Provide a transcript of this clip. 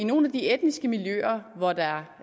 nogle af de etniske miljøer hvor der